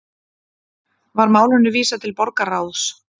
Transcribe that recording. Var málinu vísað til borgarráðs